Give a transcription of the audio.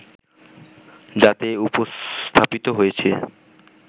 যাতে উপস্থাপিত হয়েছে